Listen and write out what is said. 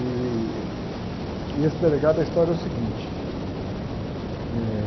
Ih, e esse delegado, a história é o seguinte. Eh